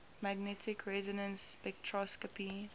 magnetic resonance spectroscopy